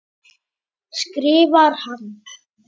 skrifar hann.